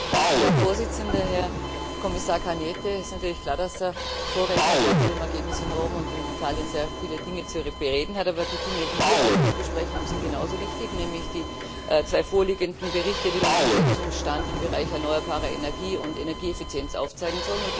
Herr Präsident, Herr Kommissar Cañete! Es ist natürlich klar, dass der Vorredner gerade zum Ergebnis in Rom und in Italien sehr viele Dinge zu bereden hat, aber die Dinge, die wir heute zu besprechen haben, sind genauso wichtig, nämlich die zwei vorliegenden Berichte, die den Umsetzungsstand im Bereich erneuerbare Energie und Energieeffizienz aufzeigen sollen.